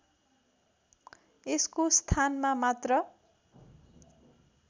यसको स्थानमा मात्र